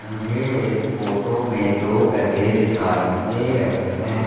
मुझे इस फोटो में दो गधे दिखाई दे रहे हैं।